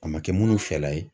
A ma kɛ munnu fɛla ye.